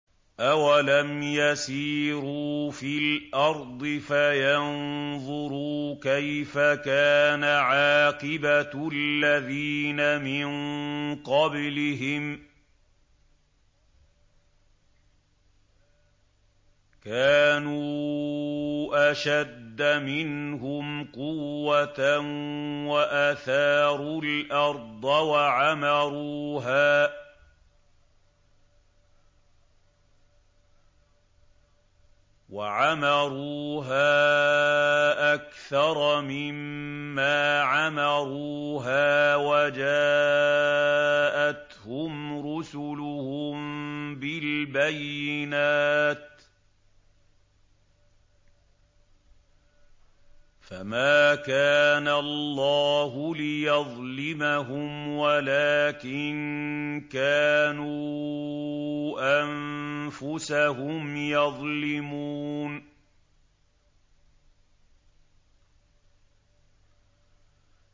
أَوَلَمْ يَسِيرُوا فِي الْأَرْضِ فَيَنظُرُوا كَيْفَ كَانَ عَاقِبَةُ الَّذِينَ مِن قَبْلِهِمْ ۚ كَانُوا أَشَدَّ مِنْهُمْ قُوَّةً وَأَثَارُوا الْأَرْضَ وَعَمَرُوهَا أَكْثَرَ مِمَّا عَمَرُوهَا وَجَاءَتْهُمْ رُسُلُهُم بِالْبَيِّنَاتِ ۖ فَمَا كَانَ اللَّهُ لِيَظْلِمَهُمْ وَلَٰكِن كَانُوا أَنفُسَهُمْ يَظْلِمُونَ